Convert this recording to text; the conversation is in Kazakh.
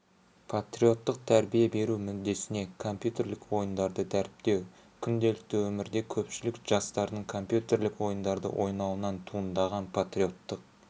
патриоттық тәрбие беру мүддесінде компьютерлік ойындарды дәріптеу күнделікті өмірде көпшілік жастардың компьютерлік ойындарды ойнауынан туындаған патриоттық